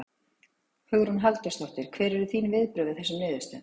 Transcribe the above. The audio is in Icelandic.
Hugrún Halldórsdóttir: Hver eru þín viðbrögð við þessum niðurstöðum?